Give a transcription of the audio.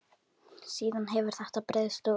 Síðan hefur þetta breiðst út.